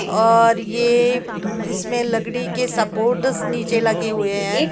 और ये इसमें लकड़ी के सपोर्टस नीचे लगे हुए हैं।